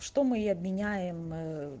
что мы и обменяем ээ